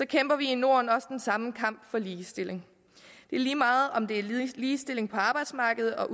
kæmper vi i norden også den samme kamp for ligestilling det er lige meget om det er ligestilling på arbejdsmarkedet og